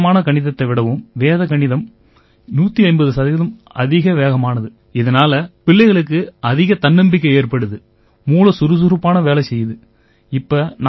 இந்த சாதாரணமான கணிதத்தை விடவும் வேத கணிதம் 150 சதவீதம் அதிக வேகமானது இதனால பிள்ளைங்களுக்கு அதிக தன்னம்பிக்கை ஏற்படுது மூளை சுறுசுறுப்பா வேலை செய்யுது